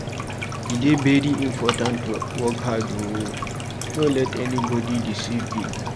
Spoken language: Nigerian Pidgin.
E dey very important to work hard, no let anybodi deceive you.